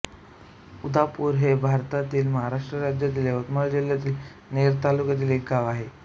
उदापूर हे भारतातील महाराष्ट्र राज्यातील यवतमाळ जिल्ह्यातील नेर तालुक्यातील एक गाव आहे